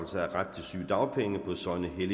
jeg